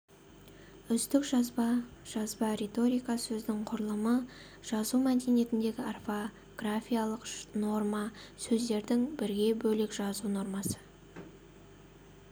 үздік жазба жазба риторика сөздің құрылымы жазу мәдениетіндегі орфографиялық норма сөздердің бірге бөлек жазу нормасы